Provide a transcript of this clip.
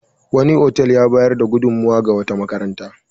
Wani otal ya bayar da gudunmowa ga wata makaranta.